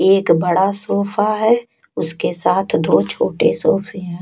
एक बड़ा सोफ़ा है उसके साथ दो छोटे सोफे है।